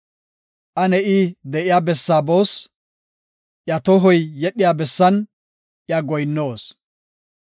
“Ane I de7iya bessaa boos; iya tohoy yedhiya bessan iya goyinnoos.”